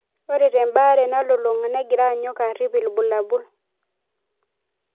Ore tembare nalulunga negira anyok arip ibulabul.